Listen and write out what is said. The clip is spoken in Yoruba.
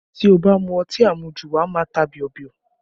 Tí o bá mu ọtí amuju, wà á má a ta bíọ́bíọ́